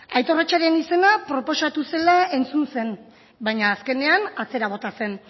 aitor acha izena proposatu zela entzun zen baina azkenean atzera bota zen